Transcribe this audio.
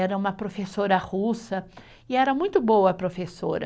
Era uma professora russa e era muito boa professora.